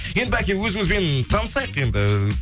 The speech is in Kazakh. енді бәке өзіңізбен танысайық енді